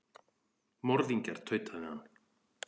Morðingjar, tautaði hann.